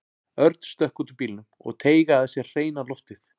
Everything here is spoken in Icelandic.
Örn stökk út úr bílnum og teygaði að sér hreina loftið.